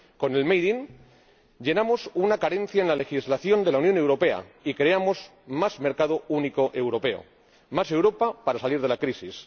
Con el Made in llenamos una carencia en la legislación de la Unión Europea y creamos más mercado único europeo, más Europa para salir de la crisis.